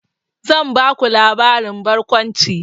Zan baku labarin barkwanci.